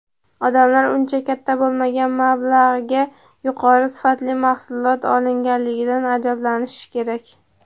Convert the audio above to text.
Odamlar uncha katta bo‘lmagan mablag‘ga yuqori sifatli mahsulot olganligidan ajablanishi kerak.